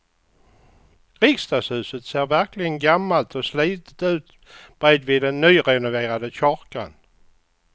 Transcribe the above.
Riksdagshuset ser verkligen gammalt och slitet ut bredvid den nyrenoverade kyrkan.